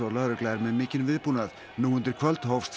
lögregla er með mikinn viðbúnað nú undir kvöld hófst